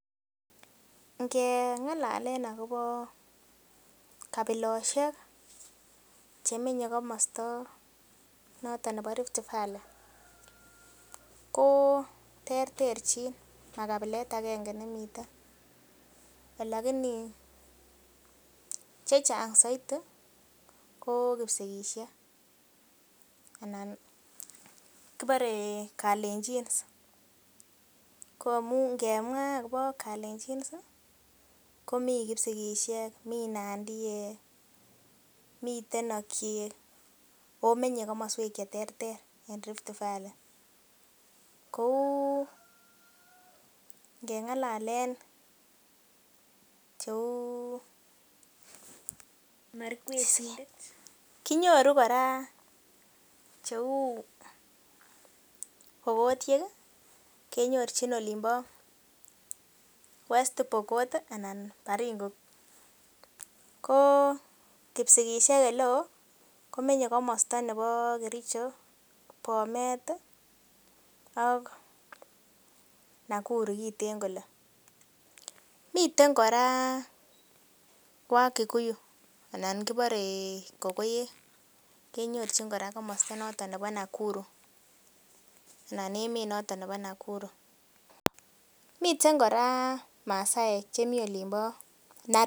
Ngeng'alalen akobo kabilosiek chemenye komosta noton nebo Rift valley ko terterchin ma kabilet agenge nemiten lakini chechang soiti ko kipsigisiek anan kibore kalenjins ko ngemwaa akobo kalenjins ih komii kipsigisiek mii nandiek miten okiek ako menye komoswek cheterter en Rift valley kou ngeng'alalen cheu markwetindet Kinyoru kora cheu pokotiek kenyorchin olin bo west pokot anan Baringo ko kipsigisiek eleoo komenye komosta nebo Kericho, Bomet ih ak Nakuru kiten kole miten kora wakikuyu anan kibore kokoek kenyorchin kora komosta nebo Nakuru anan emet noton nebo Nakuru, miten kora masaek chemii olin bo Narok